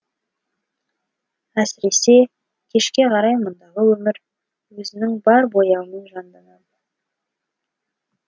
әсіресе кешке қарай мұндағы өмір өзінің бар бояуымен жанданады